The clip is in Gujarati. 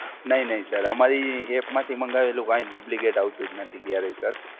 નહિ નહિ Sir, અમારી App માંથી મંગાવેલું કાંઈ Duplicate આવતું જ નથી ક્યારેય Sir.